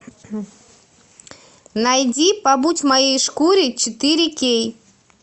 найди побудь в моей шкуре четыре кей